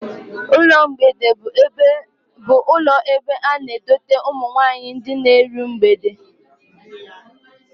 Ụlọ mgbede bụ ụlọ ebe a na-edote ụmụ nwaanyị ndị na-eru mgbede